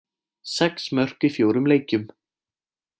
Sex mörk í fjórum leikjum.